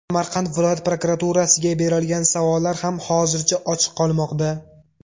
Samarqand viloyat prokuraturasiga berilgan savollar ham hozircha ochiq qolmoqda.